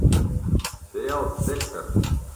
сериал декстер